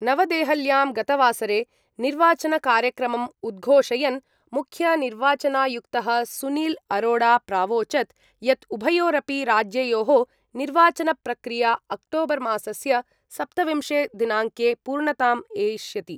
नवदेहल्यां गतवासरे निर्वाचनकार्यक्रमम् उद्घोषयन् मुख्यनिर्वाचनायुक्तः सुनील अरोड़ा प्रावोचत् यत् उभयोरपि राज्ययोः निर्वाचनप्रक्रिया अक्टोबर्मासस्य सप्तविंशे दिनाङ्के पूर्णताम् एष्यति।